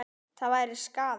Það væri skaði.